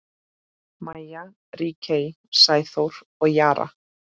Maja, Ríkey, Sæþór og Jara.